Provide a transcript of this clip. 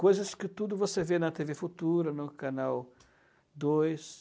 Coisas que tudo você vê na tê vê Futura, no Canal dois.